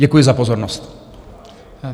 Děkuji za pozornost.